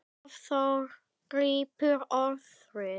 Hafþór grípur orðið.